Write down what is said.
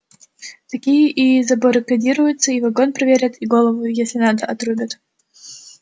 такие и забаррикадируются и вагон проверят и голову если надо отрубят